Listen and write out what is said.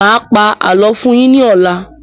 Mà á pa àlọ́ fún yín ní ọ̀la.